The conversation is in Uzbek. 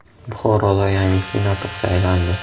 Buxoroda yangi senator saylandi.